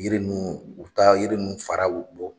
Yiri nun u bɛ taa yiri ninnu faraw bɔ.